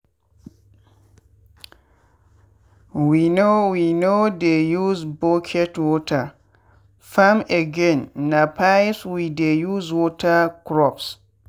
we no we no dey use bucket water farm again na pipes we dey use water crops.